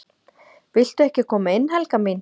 """VILTU EKKI KOMA INN, HELGA MÍN!"""